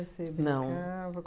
Você Não brincava?